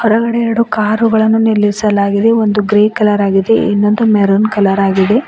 ಕೆಳಗಡೆ ಎರಡು ಕಾರುಗಳನ್ನು ನಿಲ್ಲಿಸಲಾಗಿದೆ ಒಂದು ಗ್ರೇ ಕಲರ್ ಆಗಿದೆ ಇನ್ನೊಂದು ಮ್ಯಾರುನ್ ಕಲರ್ ಆಗಿದೆ.